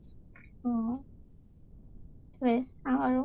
অ অ । সেইটোৱে আৰু